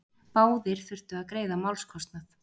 Báðir þurftu að greiða málskostnað.